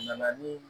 Na ni